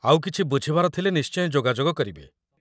ଆଉ କିଛି ବୁଝିବାର ଥିଲେ ନିଶ୍ଚୟ ଯୋଗାଯୋଗ କରିବେ ।